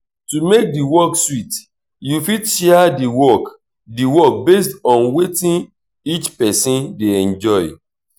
to make di work sweet you fit share di work di work based on wetin each person dey enjoy